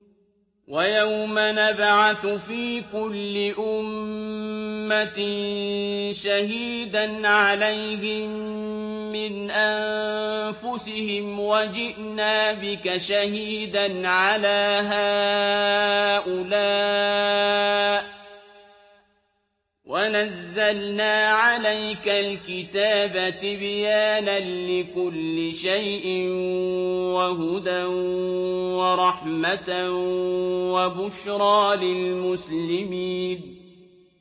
وَيَوْمَ نَبْعَثُ فِي كُلِّ أُمَّةٍ شَهِيدًا عَلَيْهِم مِّنْ أَنفُسِهِمْ ۖ وَجِئْنَا بِكَ شَهِيدًا عَلَىٰ هَٰؤُلَاءِ ۚ وَنَزَّلْنَا عَلَيْكَ الْكِتَابَ تِبْيَانًا لِّكُلِّ شَيْءٍ وَهُدًى وَرَحْمَةً وَبُشْرَىٰ لِلْمُسْلِمِينَ